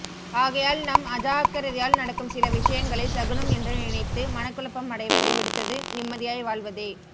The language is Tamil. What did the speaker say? ஆகையால் நம் அஜாக்கிரதையால் நடக்கும் சில விஷயங்களை சகுனம் என்று நினைத்து மனக்குழப்பம் அடைவதை விடுத்தது நிம்மதியாய் வாழ்வதே